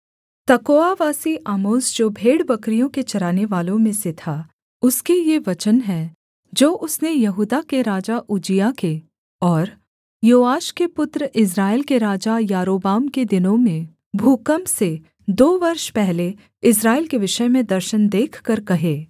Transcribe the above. तकोआवासी Amos जो भेड़बकरियों के चरानेवालों में से था उसके ये वचन हैं जो उसने यहूदा के राजा उज्जियाह के और योआश के पुत्र इस्राएल के राजा यारोबाम के दिनों में भूकम्प से दो वर्ष पहले इस्राएल के विषय में दर्शन देखकर कहे